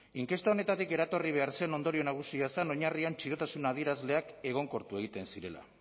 inkesta honetatik eratorri behar zen ondorio nagusia zen oinarrian txirotasuna adierazleak egonkortu egiten zirela